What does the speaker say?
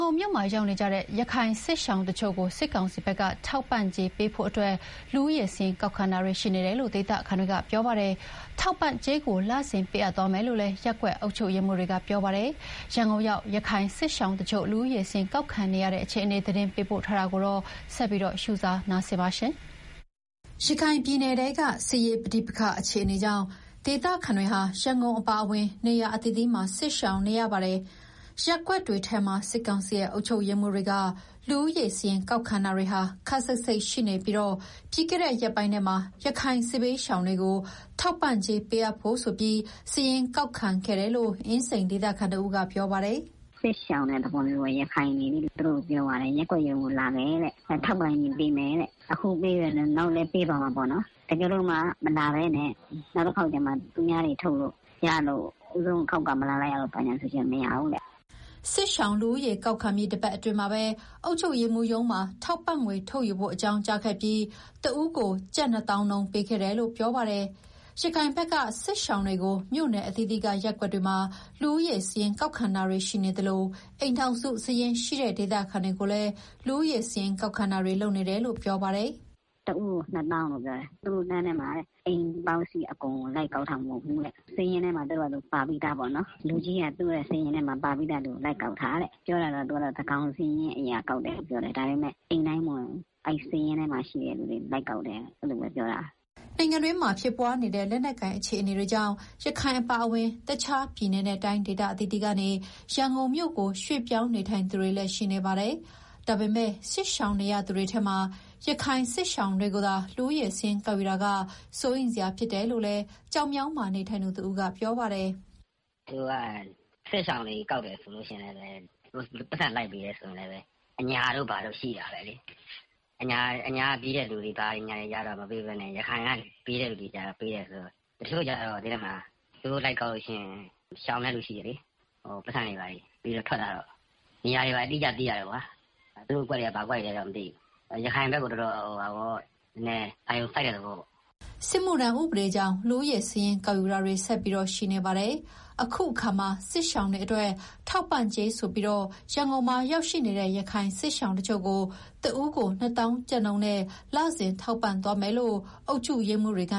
ကုန်မြို့မှာ ရောက်ရှိနေတဲ့ ရခိုင်စစ်ရှောင်တချို့ကို စစ်ကောင်စီဘက်က ထောက်ပံ့ကြေးပေးဖို့အတွက် လူဦးရေစာရင်း ကောက်ခံတာတွေ ရှိနေတယ်လို့ ဒေသခံတွေက ပြောပါတယ်။ ထောက်ပံ့ ကြေးကို လစဉ်ပေးအပ်သွားမယ်လို့လည်း ရပ်ကွက်အုပ်ချုပ်ရေးမှူးတွေက ပြောပါတယ်။ ရန်ကုန်ရောက် ရခိုင်စစ်ရှောင်တချို့ လူဦးရေစာရင်း ကောက်ခံနေရတဲ့အခြေအနေ သတင်းပေးပို့ထားပါတယ်။ ရခိုင်ပြည်နယ်ထဲက စစ်ရေးပဋိပက္ခ အခြေအနေကြောင့် ဒေသခံတွေဟာ ရန်ကုန်အပါအဝင် နေရာအသီးသီးမှာ စစ်ရှောင်နေရတာပါ။ ရပ်ကွက်တွေထဲမှာ စစ်ကောင်စီရဲ့ အုပ်ချုပ်ရေးမှူးတွေက လူဦးရေစာရင်း ကောက်ခံတာတွေ ခပ်စိပ်စိပ်ရှိနေပြီး ပြီးခဲ့တဲ့ ရက်ပိုင်းထဲမှာ ရခိုင်စစ်ဘေးရှောင်တွေကို ထောက်ပံ့ကြေး ပေးအပ်ဖို့ဆိုပြီး စာရင်းကောက်ခံခဲ့တယ်လို့ အင်းစိန်ဒေသခံတဦးက ပြောပါတယ်။ "စစ်ရှောင်တဲ့သဘောမျိုးပေါ့၊ ရခိုင်တွေလေ။ သူတို့ကို ရပ်ကွက်ရုံးလာဖို့ ပြောသွားတယ်။ ထောက်ပံ့ကြေး ပေးမယ်တဲ့။ အခုပေးမယ်၊ နောက်လည်း ပေးသွားမယ်ပေါ့နော်။ တကယ်လို့ အခုတခေါက်မလာဘဲ နောက်တခေါက်ကျမှ သူများတွေထုတ်လို့ရမှ ဦးဆုံးအခေါက်က မလာလိုက်ရလို့ဆိုရင် မရဘူးတဲ့။" စစ်ရှောင်လူဦးရေ ကောက်ခံပြီး တပတ်အတွင်းမှာပဲ အုပ်ချုပ်ရေးမှူးရုံးမှာ ထောက်ပံ့ငွေထုတ်ယူဖို့ အကြောင်းကြားခဲ့ပြီး၊ တဦးကို ကျပ် ၂၀,၀၀၀ နှုန်း ပေးခဲ့တယ်လို့ ပြောပါတယ်။ ရခိုင်ဘက်က စစ်ရှောင်တွေကို မြို့နယ်အသီးသီးက ရပ်ကွက်တွေမှာ လူဦးရေစာရင်း ကောက်ခံတာရှိနေသလို အိမ်ထောင်စုစာရင်းရှိတဲ့ ဒေသခံတွေကိုလည်း လူဦးရေစာရင်း ကောက်ခံတာတွေ လုပ်နေတယ်လို့ ပြောပါတယ်။ "တဦးကို ၂၀,၀၀၀ ရတယ်။ နောက်ထပ်လမ်းထဲမှာလည်း လူဦးရေစာရင်း လိုက်ကောက်တာ အိမ်တိုင်းကို လိုက်ကောက်တာ မဟုတ်ဘူးတဲ့။ လူကြီးက သူတို့စာရင်းထဲမှာ ပါပြီးသားလူကို လိုက်ကောက်တာတဲ့။ သူကတော့ သန်းခေါင်စာရင်းအရ ကောက်တယ်လို့ပြောတယ်။ ဒါပေမဲ့ အိမ်တိုင်းမဝင်ဘူး။ အဲဒီစာရင်းထဲမှာ ရှိတဲ့လူတွေကိုပဲ လိုက်ကောက်တယ်။" နိုင်ငံအတွင်းမှာ ဖြစ်ပွားနေတဲ့ လက်နက်ကိုင် အခြေအနေတွေကြောင့် ရခိုင်အပါအဝင် တခြားပြည်နယ်နဲ့ တိုင်းဒေသ အသီးသီးကနေ ရန်ကုန်မြို့ကို ရွှေ့ပြောင်းနေထိုင်သူတွေလည်း ရှိနေပါတယ်။ ဒါပေမဲ့ စစ်ရှောင်နေရသူတွေထဲမှာ ရခိုင်စစ်ရှောင်တွေကိုသာ လူဦးရေစာရင်း ကောက်ယူတာက စိုးရိမ်စရာဖြစ်တယ်လို့လည်း ကျောက်မြောင်းမှာ နေထိုင်သူတဦးက ပြောပါတယ်။ "သူတို့က စစ်ရှောင်စာရင်းကောက်ပြီး ပိုက်ဆံပေးတယ်ဆိုရင် အညာတို့ဘာတို့ ရှိတာပဲလေ။ အညာကပြေးတဲ့ လူတွေကျတော့ မပေးဘဲနဲ့ ရခိုင်ကိုပဲ ပေးတယ်ဆိုတော့။ တချို့တွေကျတော့ သိတယ်မလား။ သူတို့လိုက်ကောက်ရင် ရှောင်တဲ့လူရှိတယ်လေ။ ပိုက်ဆံပေးတဲ့အခါ ထွက်လာတော့ နေရာအတိအကျ သိရတာပေါ့။ သူတို့အကွက်တွေက ဘာအကွက်တွေလဲတော့ မသိဘူး။ ရခိုင်ဘက်ကို အာရုံစိုက်တဲ့သဘောပေါ့။" စစ်မှုထမ်းဥပဒေကြောင့် လူဦးရေစာရင်း ကောက်ယူတာတွေကလည်း ဆက်ပြီးရှိနေပါတယ်။ အခုတခါမှာ စစ်ရှောင်တွေအတွက် ထောက်ပံ့ကြေးဆိုပြီး ရန်ကုန်မှာရောက်ရှိနေတဲ့ ရခိုင်စစ်ရှောင်တချို့ကို တဦးကို ၂၀,၀၀၀ နှုန်းနဲ့ လစဉ်ထောက်ပံ့သွားမယ်လို့ အုပ်ချုပ်ရေးမှူးတွေက